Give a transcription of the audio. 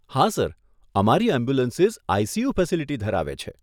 હા સર અમારી ambulances ICU facility ધરાવે છે.